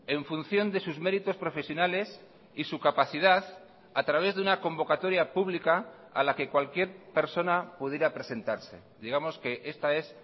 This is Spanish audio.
en función de sus méritos profesionales y su capacidad a través de una convocatoria pública a la que cualquier persona pudiera presentarse digamos que esta es